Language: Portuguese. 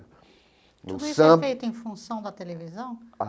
Tudo isso é feito em função da televisão?